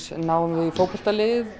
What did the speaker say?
náum við í fótboltalið